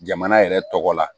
Jamana yɛrɛ tɔgɔ la